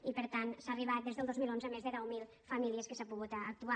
i per tant s’ha arribat des del dos mil onze a més de deu mil famílies que s’ha pogut actuar